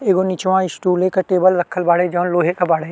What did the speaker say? एगो निचवा स्टूल एक टेबल रखल बाड़े। जउन लोहे के बाड़े।